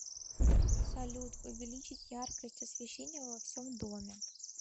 салют увеличить яркость освещения во всем доме